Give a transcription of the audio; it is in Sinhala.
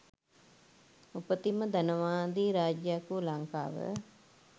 උපතින් ම ධනවාදී රාජ්‍යයක් වූ ලංකාව